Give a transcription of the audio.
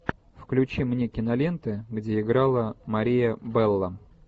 включи мне киноленты где играла мария белло